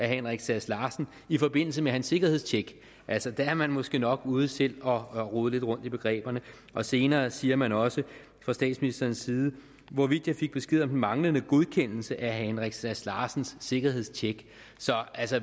henrik sass larsen i forbindelse med hans sikkerhedstjek altså der er man måske nok ude selv at rode lidt rundt i begreberne og senere siger man også fra statsministerens side hvorvidt jeg fik besked om den manglende godkendelse af herre henrik sass larsens sikkerhedstjek